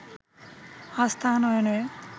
আস্থা আনয়নে